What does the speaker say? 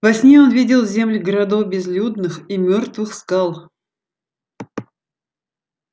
во сне он видел земли городов безлюдных и мёртвых скал